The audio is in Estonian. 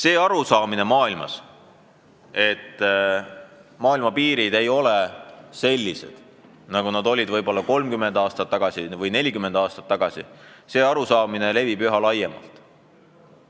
Aga arusaamine, et piirid ei ole enam sellised, nagu need olid 30 või 40 aastat tagasi, levib kogu maailmas üha laiemalt.